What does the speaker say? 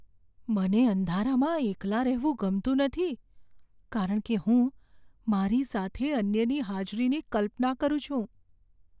મને અંધારામાં એકલા રહેવું ગમતું નથી કારણ કે હું મારી સાથે અન્યની હાજરીની કલ્પના કરું છું.